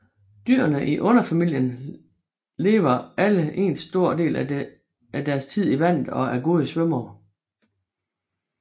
Dyrene i underfamilien lever alle en stor del af deres tid i vandet og er gode svømmere